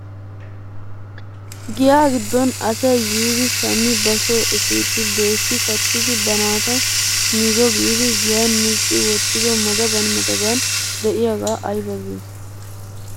Giya giddon asay yiidi shammi ba soo epiidi doyssi kattidi ba naata mizzo giidi giyan micci wottido madaban madaban de'iyaagaa aybaa giyoo?